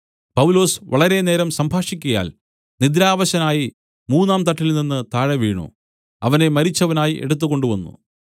പൗലൊസ് വളരെ നേരം സംഭാഷിക്കയാൽ നിദ്രാവശനായി മൂന്നാം തട്ടിൽ നിന്ന് താഴെ വീണു അവനെ മരിച്ചവനായി എടുത്തുകൊണ്ട് വന്നു